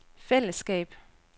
fællesskab